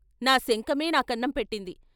నా శంఖమే నా కన్నం పెట్టింది.